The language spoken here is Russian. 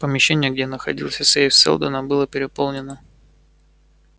помещение где находился сейф сэлдона было переполнено